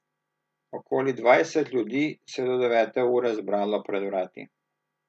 Okoli dvajset ljudi se je do devete ure zbralo pred vrati.